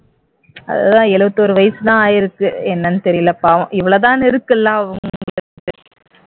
அதுதா எழுவத்தோரு வயசுதான் ஆயிருக்கு என்னன்னு தெரியல பாவம் இவ்வளவுதான்னு இருக்குல்ல அவங்களுக்கு